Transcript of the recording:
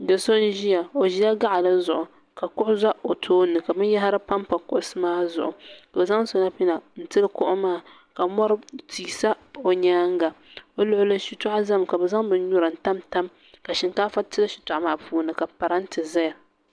do so n zɛya o ʒɛla gaɣili zuɣ' ka kuɣ' za o tuuni ka bɛn yahira pampa kuɣisi maa zuɣ' ka o zaŋ shɛpina tam ka mori ti sa o nyɛŋa be luɣili shɛtuɣigu zami ka be zaŋ bin nura m tam ka shɛnkaaƒa tam bɛn maa puuni ka parimtɛ zaya